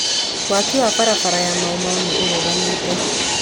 Waki wa barabara ya Mau Mau nĩ ũrũgamĩte.